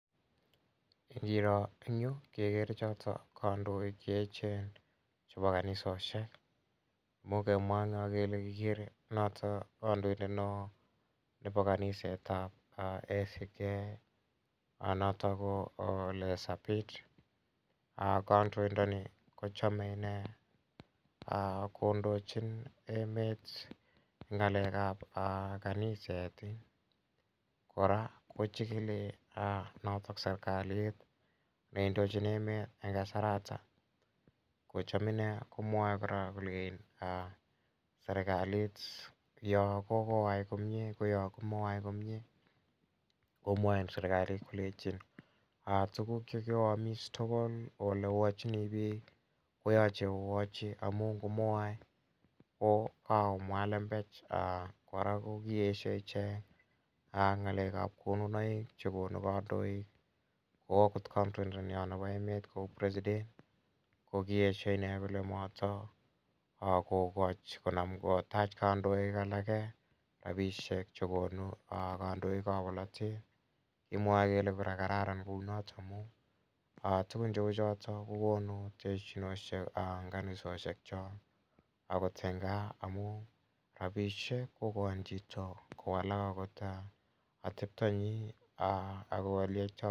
Ngiro en yu kekere chotok kandoik che echen chepo kaniseshok. Imuch kemwa eng' yo kele kikere notok kandoindet ne oo nepo kaniset ap ACK notok ko Ole Sapit. Kandoindani ko chame ine kondochin emet eng' ng'alek ap kaniset. Kora ko chigili notok serkalit ne indochin emet eng' kasaratak. Ko cham ine kocham komwae kora kolein serkalit ya kokoyai komye ko ya komoyai komye komwain serakalit kolechin tuguk che kioamis tugul ole oachini pik ko yache oyachi amun ngo moyai akomwa lembech kora kikesha ichek. Ak ng'alek ap konunoik kora che konu kandoik kou agot kandoindetnyo nepo emet kou president ko kiesha ine kole matakokachi konam kotach kandoik alake rapishek chekonu kandoik ap polotet. Kimwa kora kole kararan kou notok amun tugun cheu chotok ko konu terchinoshek eng' kanisoshek chok akot eng' gaa amun rapishek ko kachin chito kowalak atepta nyi agot ole yaitai poishet.